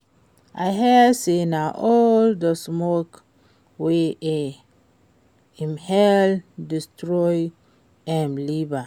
I hear say na all the smoke wey e inhale destroy im liver